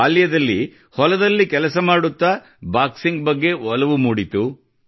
ಬಾಲ್ಯದಲ್ಲಿ ಹೊಲದಲ್ಲಿ ಕೆಲಸ ಮಾಡುತ್ತಾ ಬಾಕ್ಸಿಂಗ್ ಬಗ್ಗೆ ಒಲವು ಮೂಡಿತು